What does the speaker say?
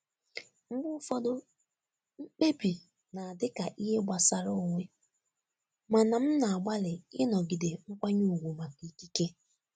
Mgbe ụfọdụ, mkpebi na-adị ka ihe gbasara onwe, mana m na-agbalị ịnọgide nkwanye ùgwù maka ikike.